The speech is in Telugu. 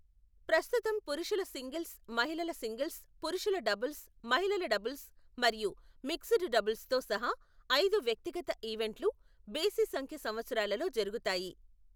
ప్రస్తుతం పురుషుల సింగిల్స్, మహిళల సింగిల్స్, పురుషుల డబుల్స్, మహిళల డబుల్స్ మరియు మిక్స్డ్ డబుల్స్తో సహా ఐదు వ్యక్తిగత ఈవెంట్లు బేసి సంఖ్య సంవత్సరాలలో జరుగుతాయి.